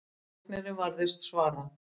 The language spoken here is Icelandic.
Læknirinn varðist svara.